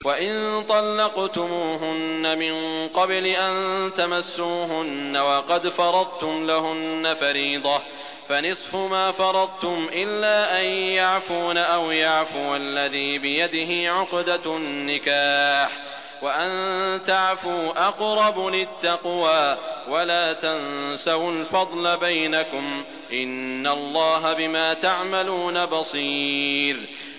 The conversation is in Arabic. وَإِن طَلَّقْتُمُوهُنَّ مِن قَبْلِ أَن تَمَسُّوهُنَّ وَقَدْ فَرَضْتُمْ لَهُنَّ فَرِيضَةً فَنِصْفُ مَا فَرَضْتُمْ إِلَّا أَن يَعْفُونَ أَوْ يَعْفُوَ الَّذِي بِيَدِهِ عُقْدَةُ النِّكَاحِ ۚ وَأَن تَعْفُوا أَقْرَبُ لِلتَّقْوَىٰ ۚ وَلَا تَنسَوُا الْفَضْلَ بَيْنَكُمْ ۚ إِنَّ اللَّهَ بِمَا تَعْمَلُونَ بَصِيرٌ